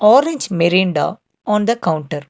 orange mirinda on the counter.